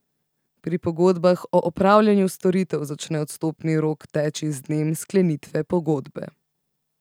Pri pogodbah o opravljanju storitev začne odstopni rok teči z dnem sklenitve pogodbe.